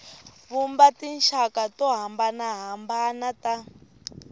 vumba tinxaka to hambanahambana ta